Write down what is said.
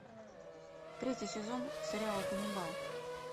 третий сезон сериала ганнибал